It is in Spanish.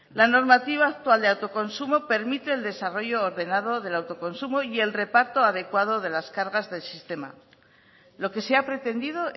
la normativa actual de autoconsumo permite el desarrollo ordenado del autoconsumo y el reparto adecuado de las cargas del sistema lo que se ha pretendido